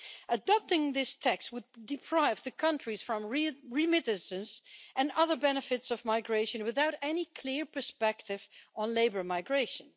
Adopting this text would deprive the countries of remittances and other benefits of migration, without any clear perspective on labour migration.